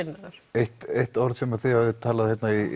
eitt eitt orð sem að þið hafið talað